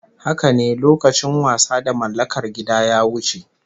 Haka ne, lokacin wasa da mallakar gida ya wuce